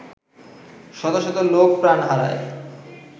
শত শত লোক প্রাণ হারায়